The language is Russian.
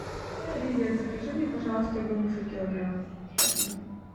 привет закажи мне пожалуйста груши килограмм спасибо